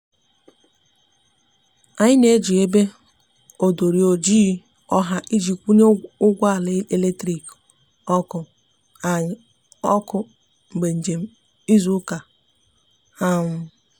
anyi n'eji ebe odori ojịị ọha iji kwunye ụgbọ ala eletrikị (ọkụ)anyi oku mgbe njem izu uka